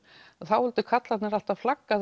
þá vildu karlarnir alltaf flagga